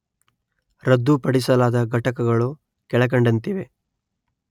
ರದ್ದುಪಡಿಸಲಾದ ಘಟಕಗಳು ಕೆಳಕಂಡಂತಿವೆ